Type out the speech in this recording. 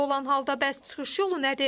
Belə olan halda bəs çıxış yolu nədir?